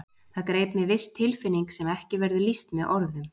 Það greip mig viss tilfinning sem ekki verður lýst með orðum.